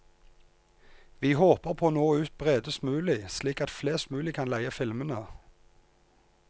Vi håper på å nå ut bredest mulig slik at flest mulig kan leie filmene.